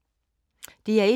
DR1